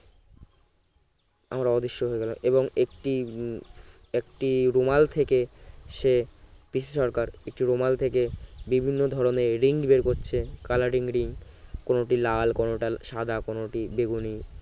আমরা অদৃশ্য হয়ে গেল এবং একটি একটি রুমাল থেকে সে পিসি সরকার একটি রুমাল থেকে বিভিন্ন ধরনের ring বের করছে coloring ring কোনটি লাল কোনটা সাদা কোনটি বেগুনি